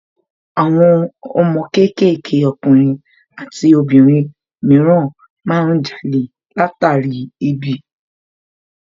Àwọn ọmọ kéékèèké ọkùnrin àti obìnrin mìíràn má ń jalè látàrí ebi